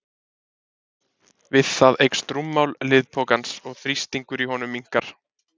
við það eykst rúmmál liðpokans og þrýstingur í honum minnkar